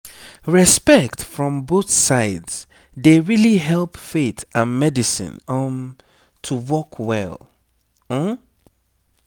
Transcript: respect from both sides dey really help faith and medicine um to work well um